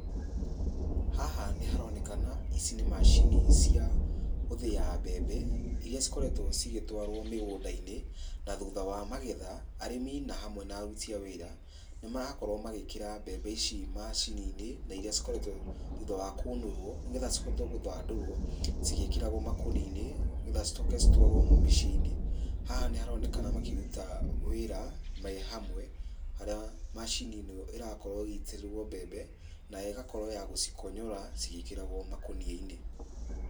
Haha nĩharonekana ici nĩ macini cia gũthĩa mbembe, iria cikoretwo cigĩtwarwo mĩgũnda-inĩ, na thutha wa magetha , arĩmi na hamwe na aruti a wĩra, nĩmarakorwo magĩkĩra mbembe ici macini-inĩ, na iria cikoretwo, thutha wa kũnũrwo, nĩgetha cihote gũthandũrwo cigĩkĩragwo makũnia-inĩ, nĩgetha cicoke citwarwo mĩciĩ-inĩ. Haha nĩharonekana makĩruta wĩra me hamwe, harĩa macini ĩno ĩrakorwo ĩgĩitĩrĩrwo mbembe, nayo ĩgakorwo ya gũcikonyora cigĩkĩragwo makũnia-inĩ.